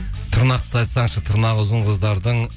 тырнақты айтсаңшы тырнағы ұзын қыздардың